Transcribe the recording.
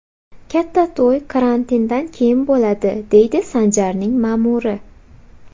Katta to‘y karantindan keyin bo‘ladi”, deydi Sanjarning ma’muri.